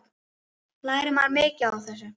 Lærir maður mikið á þessu?